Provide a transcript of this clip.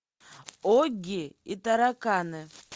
огги и тараканы